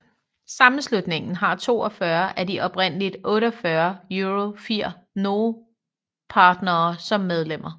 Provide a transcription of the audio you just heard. Sammenslutningen har 42 af de oprindelige 48 EuroFIR Noe partnere som medlemmer